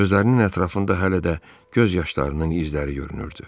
Gözlərinin ətrafında hələ də göz yaşlarının izləri görünürdü.